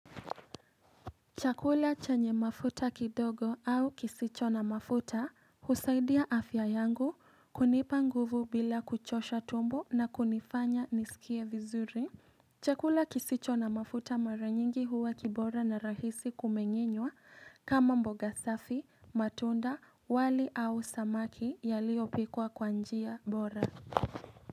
Chakula chanye mafuta kidogo au kisicho na mafuta husaidia afya yangu kunipa nguvu bila kuchosha tumbo na kunifanya nisikie vizuri Chakula kisicho na mafuta mara nyingi huwa kibora na rahisi kumenyenwa kama mboga safi, matunda, wali au samaki yaliopikwa kwa njia bora.